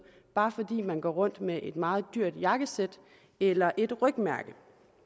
bare fordi man går rundt med et meget dyrt jakkesæt eller et rygmærke